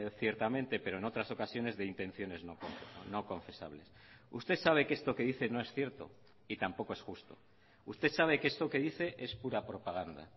ciertamente pero en otras ocasiones de intenciones no confesables usted sabe que esto que dice no es cierto y tampoco es justo usted sabe que esto que dice es pura propaganda